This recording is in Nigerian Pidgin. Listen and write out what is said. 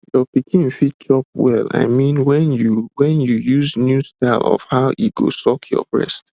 your pikin fit chop well i mean when you when you use new style of how e go suck your breast